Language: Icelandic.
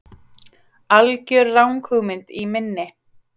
algjör ranghugmynd í minni.